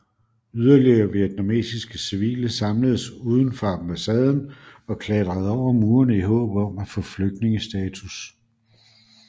Yderligere vietnamesiske civile samledes uden for ambassaden og klatrede over murene i håb om at få flygtningestatus